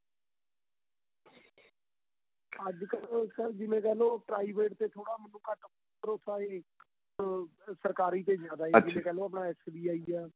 ਅੱਜ ਕੱਲ ਤਾਂ ਜਿਵੇਂ ਕਹਿਲੋ private ਤੇ ਥੋੜਾ ਮੈਨੂੰ ਘੱਟ ਭਰੋਸਾ ਏ ਅਹ ਸਰਕਾਰੀ ਤੇ ਜਿਆਦਾ ਏ ਜਿਵੇਂ ਕਹਿਲੋ ਆਪਣਾ SBI ਆਂ